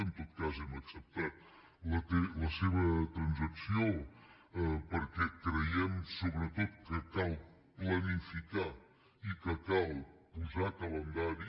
en tot cas hem acceptat la seva transacció perquè creiem sobretot que cal planificar i que cal posar calendari